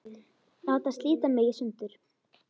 Láta slíta mig í sundur.